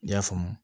I y'a faamu